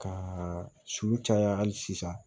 Ka su caya hali sisan